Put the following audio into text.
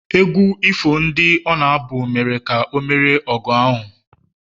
egwu ifo ndị ọ na-abụ mere ka o merie n’ọgụ ahụ